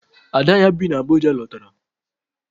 Ada ya bi n'Abuja lọtara.